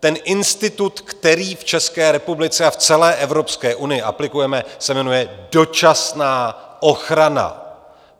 Ten institut, který v České republice a v celé Evropské unii aplikujeme, se jmenuje dočasná ochrana.